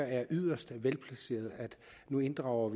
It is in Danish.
er yderst velplaceret at vi nu inddrager